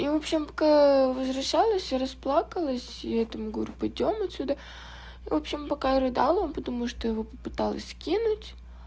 и в общем к возвращалась я расплакалась и этому говорю пойдём отсюда и в общем пока я рыдала он подумал что я его попыталась кинуть